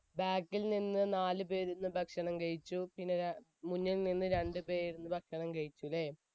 back ൽ നിന്ന് നാലു പേർ ഇരുന്ന് ഭക്ഷണം കഴിച്ചു. മുന്നിൽ നിന്നും രണ്ടുപേരും ഭക്ഷണം കഴിച്ചു അല്ലെ